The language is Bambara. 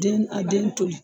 Den a den to ye.